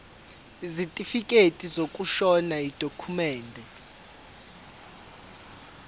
isitifikedi sokushona yidokhumende